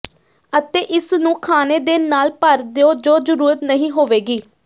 ਅਤੇ ਇਸ ਨੂੰ ਖਾਣੇ ਦੇ ਨਾਲ ਭਰ ਦਿਉ ਜੋ ਜ਼ਰੂਰਤ ਨਹੀਂ ਹੋਵੇਗੀ